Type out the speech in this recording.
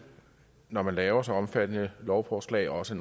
når man laver et så omfattende lovforslag også